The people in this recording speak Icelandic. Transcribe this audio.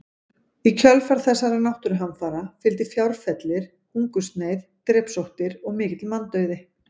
Í kjölfar þessara náttúruhamfara fylgdi fjárfellir, hungursneyð, drepsóttir og mikill manndauði.